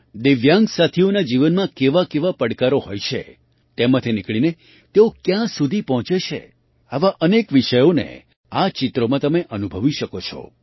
દિવ્યાંગ સાથીઓના જીવનમાં કેવાકેવા પડકારો હોય છે તેમાંથી નીકળીને તેઓ ક્યાં સુધી પહોંચે છે આવા અનેક વિષયોને આ ચિત્રોમાં તમે અનુભવી શકો છો